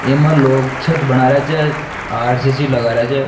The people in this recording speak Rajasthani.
ईमा लोग छत बना रेहा छ आर.सी.सी लगा रहा छ।